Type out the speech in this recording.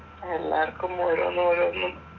എല്ലാർക്കും ഓരോന്ന് ഓരോന്നും